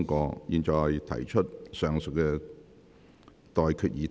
我現在向各位提出上述待決議題。